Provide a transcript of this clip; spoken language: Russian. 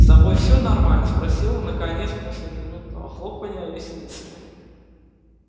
с тобой все нормально спросил он наконец после минутного хлопанья ресницами